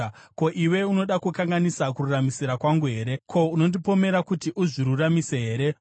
“Ko, iwe unoda kukanganisa kururamisira kwangu here? Ko, unondipomera kuti uzviruramise here?